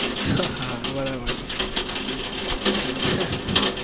હા હા બરોબર છે.